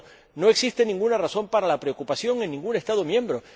Por tanto, no existe ninguna razón para la preocupación en ningún Estado miembro.